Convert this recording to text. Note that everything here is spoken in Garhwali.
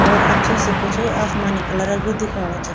और अछू सी कुछ आसमानी कलर क भी दिखेणु च।